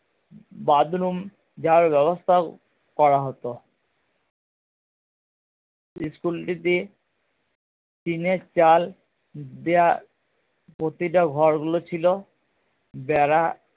bathroom যাওয়ার ব্যাবস্থাও করা হতো school টি তে টিনের চাল দেয়া প্রতিটা ঘর গুলো ছিলো বেড়া